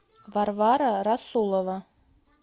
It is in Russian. варвара расулова